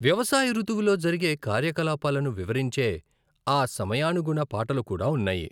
వ్యవసాయ ఋతువులో జరిగే కార్యకలాపాలను వివరించే ఆ సమయానుగుణ పాటలు కూడా ఉన్నాయి.